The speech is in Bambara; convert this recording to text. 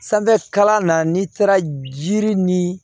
Sanfɛ kalan na n'i taara jiri ni